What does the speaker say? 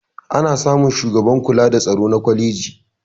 ana samun shugaban kula da tsaro na kwaleji